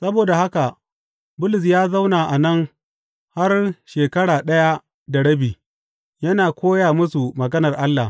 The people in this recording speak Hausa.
Saboda haka Bulus ya zauna a nan har shekara ɗaya da rabi, yana koya musu maganar Allah.